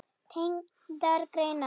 Tengdar greinar